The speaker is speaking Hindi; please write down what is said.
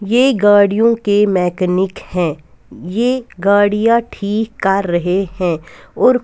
ये गाड़ियों के मैकेनिक हैं ये गाड़ियां ठीक कार रहें हैं और--